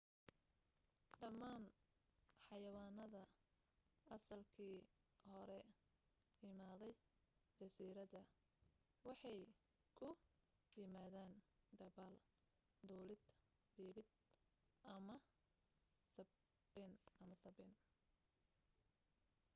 dhammaan xawanaanada asalkii hore imaaday jasiiradda waxay ku yimaadeen dabaal duulid biibid ama sabbayn